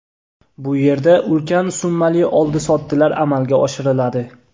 Bu yerda ulkan summali oldi-sotdilar amalga oshiriladi.